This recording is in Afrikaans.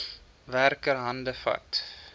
werker hande vat